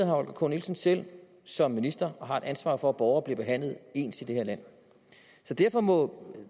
holger k nielsen selv som minister og har et ansvar for at borgere bliver behandlet ens i det her land så derfor må